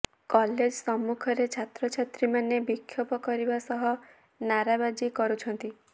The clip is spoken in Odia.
କଲେଜ ସମ୍ମୁଖରେ ଛାତ୍ରଛାତ୍ରୀମାନେ ବିକ୍ଷୋଭ କରିବା ସହ ନାରାବାଜି କରୁଛନ୍ତି